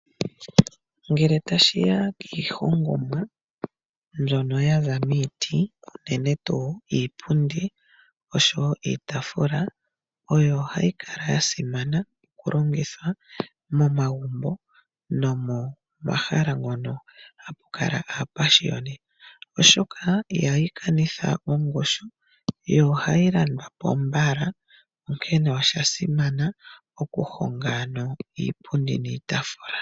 Ngele tashiya kiihongomwa mbyono yaza miiti, unene tuu iipundi oshowoo iitaafula, oyo hayi kala yasimana okulongithwa momagumbo nopomahala ngono hapu kala aapashioni oshoka ihayi kanitha ongushu. Yo ohayi landwapo mbala, onkene osha simana okuhonga iipundi niitaafula.